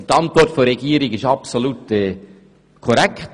Die Antwort der Regierung ist absolut korrekt.